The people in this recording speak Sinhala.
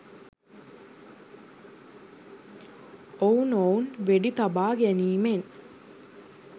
ඔවුනොවුන් වෙඩි තබා ගැනීමෙන්